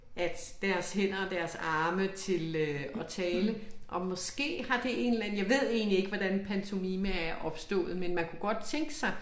At deres hænder og deres arme til øh at tale og måske har det en eller anden jeg ved egentlig ikke hvordan pantomime er opstået men man kunne godt tænke sig